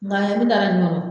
Nga